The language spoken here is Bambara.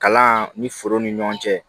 Kalan ni foro ni ɲɔgɔn cɛ